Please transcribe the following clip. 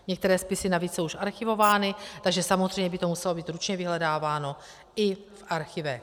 Některé spisy navíc jsou už archivovány, takže samozřejmě by to muselo být ručně vyhledáváno i v archívech.